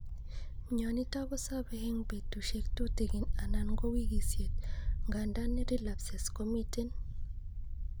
Myonitok kosobe en betusiek tutigin anan ko wikisiet , ngandan relapses komiten